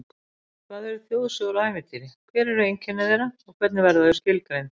Hvað eru þjóðsögur og ævintýri, hver eru einkenni þeirra, hvernig verða þau skilgreind?